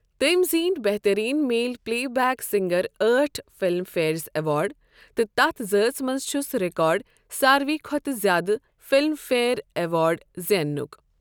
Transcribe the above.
تٔمۍ زیٖنۍ بہترین میل پلے بیک سِنگر أٹھ فِلم فیر اٮ۪وارڈ تہٕ تَتھ ذٲژ منٛز چھُس رِیکارڈ ساروےٕ کھۅتہٕ زیادٕ فلم فیر اٮ۪وارڈ زیننُک۔